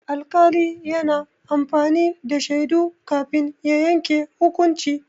Alƙali yana amfani da shaidu kafin ya yanke hukunci.